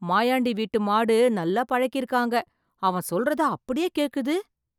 மாயாண்டி வீட்டு மாடு நல்லா பழக்கிருக்காங்க, அவன் சொல்றத அப்படியே கேக்குது.